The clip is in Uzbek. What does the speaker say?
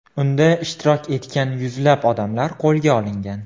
Unda ishtirok etgan yuzlab odamlar qo‘lga olingan.